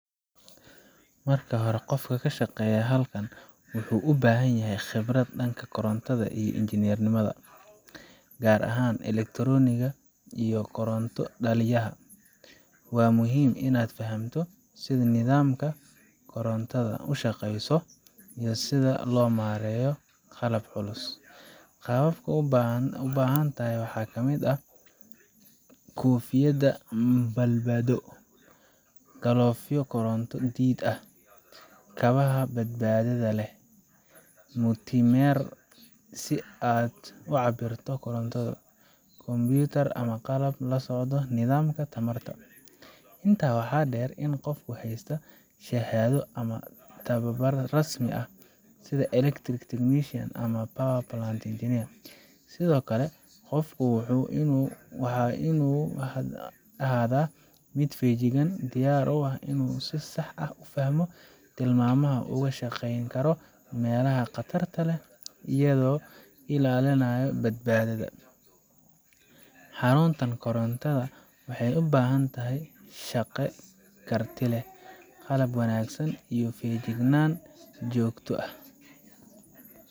Marka hore, qofka ka shaqeynaya halkan wuxuu u baahan yahay khibrad dhanka korontada iyo injineeriyada gaar ahaan elektarooniga iyo koronto dhaliyaha. Waa muhiim inaad fahamto sida nidaamka korontada u shaqeeyo, iyo sida loo maareeyo qalabka culus. Qalabka aad u baahan tahay waxaa ka mid ah: Koofiyad badbaado Galoofyo koronto-diid ah Kabaha badbaadada leh Multimeter si aad u cabirto koronto Kombuyuutar ama qalab la socdo nidaamka tamarta Intaa waxaa dheer, waa in qofku haystaa shahaado ama tababar rasmi ah, sida Electrical Technician ama Power Plant Engineer Sidoo kale, qofku waa inuu ahaadaa mid feejigan, diyaar u ah inuu si sax ah u fahmo tilmaamaha, ugana shaqeyn karo meelaha qatarta badan leh iyadoo la ilaalinayo badbaadada. Xaruntaan korontada waxay u baahan tahay shaqaale karti leh, qalab wanaagsan, iyo feejignaan joogto ah.